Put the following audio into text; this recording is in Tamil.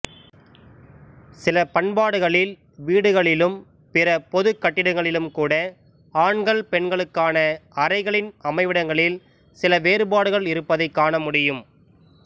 சில பண்பாடுகளில் வீடுகளிலும் பிற பொதுக் கட்டிடங்களிலும்கூட ஆண்கள் பெண்களுக்கான அறைகளின் அமைவிடங்களில் சில வேறுபாடுகள் இருப்பதைக் காண முடியும்